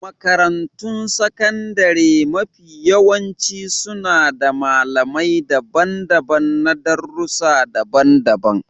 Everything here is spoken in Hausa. Makarantun sakandare mafiyawanci suna da malamai daban-daban na darussa daban-daban.